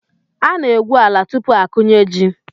Ana-egwu ala tupu akụnye ji..